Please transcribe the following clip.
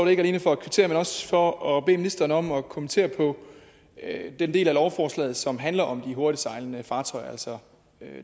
ikke alene for at kvittere men også for at bede ministeren om at kommentere på den del af lovforslaget som handler om de hurtigtsejlende fartøjer altså